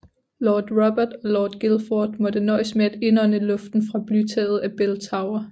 Lord Robert og Lord Guildford måtte nøjes med at indånde luften fra blytaget af Bell Tower